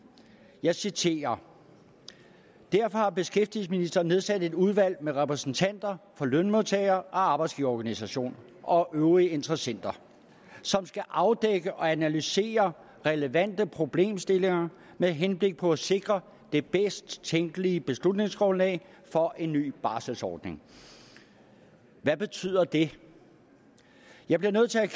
jeg citerer derfor har beskæftigelsesministeren nedsat et udvalg med repræsentanter for lønmodtager og arbejdsgiverorganisationer og øvrige interessenter som skal afdække og analysere relevante problemstillinger med henblik på at sikre det bedst tænkelige beslutningsgrundlag for en ny barselsordning hvad betyder det jeg bliver nødt til at